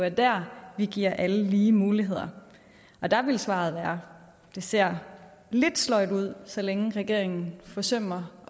jo der vi giver alle lige muligheder og der vil svaret være det ser lidt sløjt ud så længe regeringen forsømmer